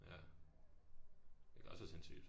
Ja hvilket også er sindssygt